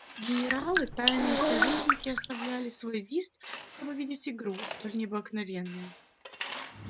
генералы тайные советники оставляли свой вист чтоб видеть игру столь необыкновенную